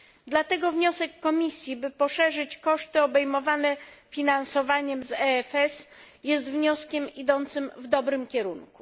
Dlatego wniosek Komisji, by poszerzyć koszty obejmowane finansowaniem z EFS, jest wnioskiem idącym w dobrym kierunku.